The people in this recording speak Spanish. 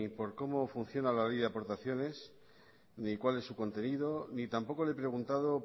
por cómo funciona la ley de aportaciones ni cuál es su contenido ni tampoco le he preguntado